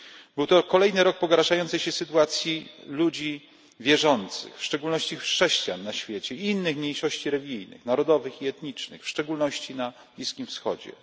Był to kolejny rok pogarszającej się na świecie sytuacji ludzi wierzących, w szczególności chrześcijan i innych mniejszości religijnych, narodowych i etnicznych, w szczególności na Bliskim Wschodzie.